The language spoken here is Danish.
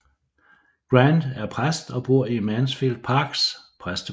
Grant er præst og bor i Mansfield Parks præstebolig